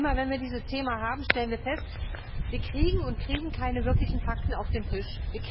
Immer, wenn wir dieses Thema haben, stellen wir fest Wir kriegen und kriegen keine wirklichen Fakten auf den Tisch.